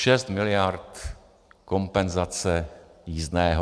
Šest miliard kompenzace jízdného.